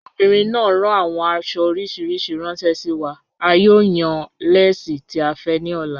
Obìnrin náà ràn awọn àṣo oríṣiríṣí ránṣẹ sí wa, à yóò yàn lẹ́sẹ̀ tì à fẹ́ ní ọ̀lá.